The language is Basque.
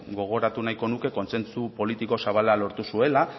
gogoratu nahiko nuke kontsentsu politiko zabal lortu zuela